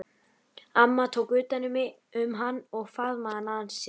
Amma tók utan um hann og faðmaði hann að sér.